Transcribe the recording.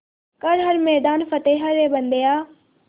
कर हर मैदान फ़तेह रे बंदेया